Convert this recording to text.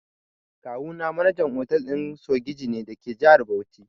Kawuna manajan otal ɗin sogiji ne dake jihar Bauchi.